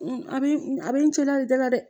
A bɛ a bɛ n cɛla da la dɛ